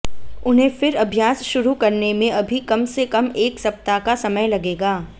उन्हें फिर अभ्यास शुरू करने में अभी कम से कम एक सप्ताह का समय लगेगा